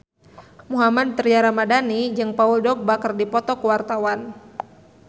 Mohammad Tria Ramadhani jeung Paul Dogba keur dipoto ku wartawan